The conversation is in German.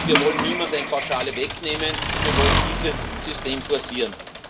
Wir wollen niemandem eine Pauschale wegnehmen, wir wollen dieses System forcieren.